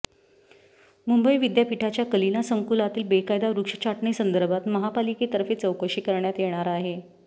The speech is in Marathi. मुंबई विद्यापीठाच्या कलिना संकुलातील बेकायदा वृक्ष छाटणीसंदर्भात महापालिकेतर्फे चौकशी करण्यात येणार आहे